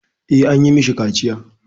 Eh, an yi mashi kaciya.